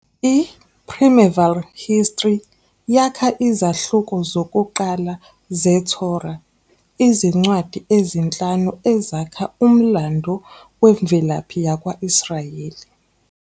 IPrimeval History yakha izahluko zokuqala zeTorah, izincwadi ezinhlanu ezakha umlando wemvelaphi yakwa-Israyeli.